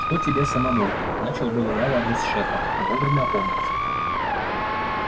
чтоб тебе самому начал было я в адрес шефа но вовремя опомнился